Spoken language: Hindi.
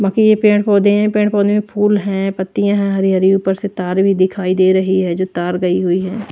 बाकि ये पेड़ पौधे हैं पेड़ पौधे में फूल हैं पत्तियां हैं हरी हरी ऊपर से तार भी दिखाई दे रही है जो तार गई हुई है।